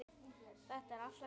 Þetta er allt að koma.